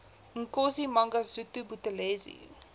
inkosi mangosuthu buthelezi